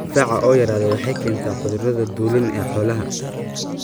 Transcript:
Difaaca oo yaraada waxay keentaa cudurrada dulin ee xoolaha.